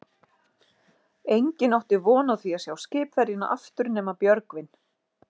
Enginn átti von á því að sjá skipverjana aftur nema Björgvin.